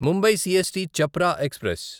Mumbai CST Chhapra express